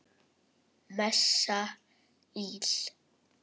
Messa íl.